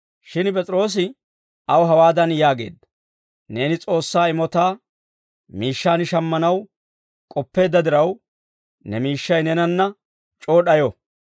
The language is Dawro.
Shin P'es'iroosi aw hawaadan yaageedda; «Neeni S'oossaa imotaa miishshaan shammanaw k'oppeedda diraw, ne miishshay neenanna c'oo d'ayo.